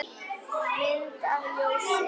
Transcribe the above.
Mynd að ljósi?